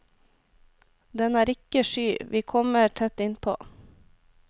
Den er ikke sky, vi kommer tett innpå.